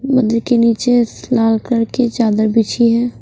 के नीचे लाल कलर की चादर बिछी है।